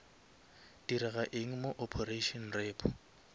direga eng mo operation repo